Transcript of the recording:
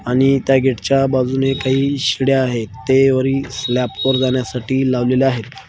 आणि त्या गेटच्या बाजूने काही शिड्या आहेत ते वरील स्लॅप वर जाण्यासाठी लावलेल्या आहेत.